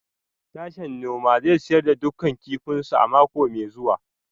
Sashen noma zai sayar da dukkan kifinsu a mako mai zuwa